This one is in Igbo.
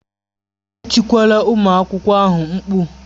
Etikwala ụmụ akwụkwọ ahụ mkpu!